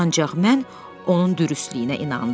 Ancaq mən onun dürüstlüyünə inandım.